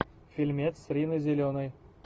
фильмец с риной зеленой